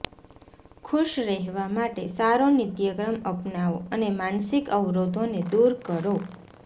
ખુશ રહેવા માટે સારો નિત્યક્રમ અપનાવો અને માનસિક અવરોધોને દૂર કરો